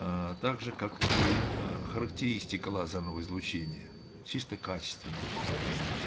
а также как и ээ характеристика лазерного излучения чисто качественная